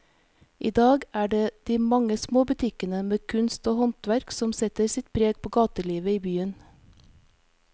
I dag er det de mange små butikkene med kunst og håndverk som setter sitt preg på gatelivet i byen.